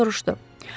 Bosir soruşdu.